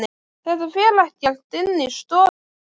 Þetta fer ekkert inn í stofu aftur!